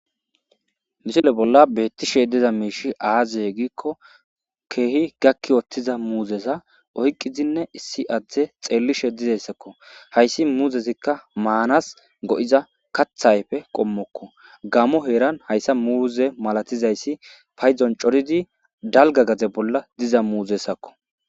Misile bolla beettishe diza miishi aaze giikko keehi gakki wottiza muuzeza oyqqizinne issi adde xeellishe dizayssakko. Hayssi muuzezikka maanas go7iza katha ayfe qommokko gamo heeran hayssa muuze malatizayssi paydon coridi dalgga diza bolla diza muuzezakko.